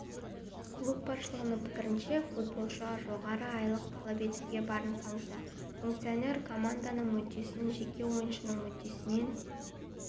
клуб басшылығының пікірінше футболшы жоғарғы айлық талап етуге барын салуда функционер команданың мүддесін жеке ойыншының мүддесінен